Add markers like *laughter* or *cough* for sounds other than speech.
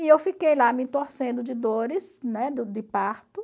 E eu fiquei lá me torcendo de dores, né, *unintelligible* de parto.